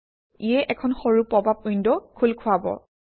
ইয়ে এখন সৰু পপআপ উইণ্ড খোল খুৱাব